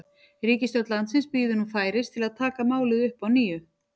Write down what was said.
Ríkisstjórn landsins bíður nú færis til að taka málið upp að nýju.